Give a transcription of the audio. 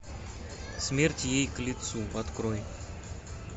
смерть ей к лицу открой